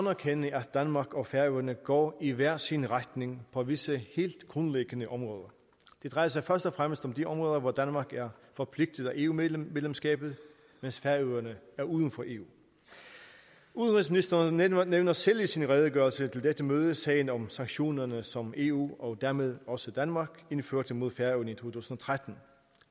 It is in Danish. erkende at danmark og færøerne går i hver sin retning på visse helt grundlæggende områder det drejer sig først og fremmest om de områder hvor danmark er forpligtet af eu medlemskabet mens færøerne er uden for eu udenrigsministeren nævner nævner selv i sin redegørelse til dette møde sagen om sanktionerne som eu og dermed også danmark indførte mod færøerne i to tusind og tretten